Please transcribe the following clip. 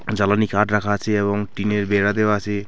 জ্বালানি কাঠ রাখা আছে এবং টিনের বেড়া দেওয়া আছে.